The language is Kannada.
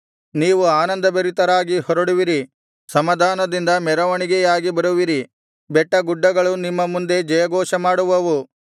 ನೀವು ಆನಂದಭರಿತರಾಗಿ ಹೊರಡುವಿರಿ ಸಮಾಧಾನದಿಂದ ಮೆರವಣಿಗೆಯಾಗಿ ಬರುವಿರಿ ಬೆಟ್ಟ ಗುಡ್ಡಗಳು ನಿಮ್ಮ ಮುಂದೆ ಜಯಘೋಷ ಮಾಡುವವು